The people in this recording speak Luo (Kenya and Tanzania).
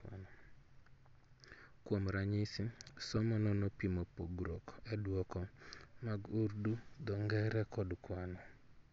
Kuom ranyisi, somo no nopimo pogruok e duoko mag Urdu, dho ngere kod kwano